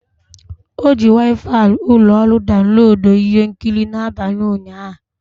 O ji Waifai ụlọ ọrụ daunloduo ihe nkiri n'abalị ụnyaahụ.